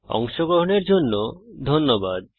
অংশগ্রহনের জন্য ধন্যবাদ